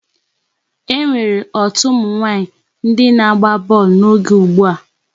E nwere otu ụmụ nwaanyị ndị na-agba bọọlụ n'oge ugbu a.